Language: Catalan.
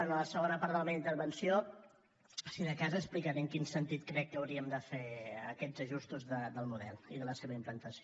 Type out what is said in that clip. en la segona part de la meva intervenció si de cas explicaré en quin sentit crec que hauríem de fer aquests ajustos del model i la seva implantació